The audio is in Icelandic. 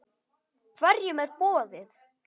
Hverjum er boðið?